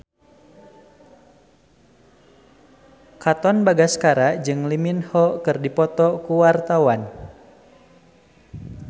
Katon Bagaskara jeung Lee Min Ho keur dipoto ku wartawan